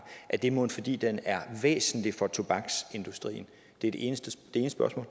er det mon fordi den er væsentlig for tobaksindustrien det er det ene spørgsmål